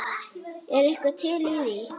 Er eitthvað til í því?